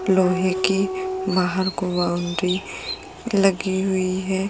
लोहे की बाहर को बाउंड्री लगी हुई है।